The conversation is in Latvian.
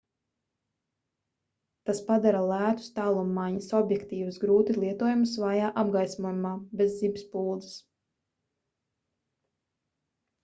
tas padara lētus tālummaiņas objektīvus grūti lietojamus vājā apgaismojumā bez zibspuldzes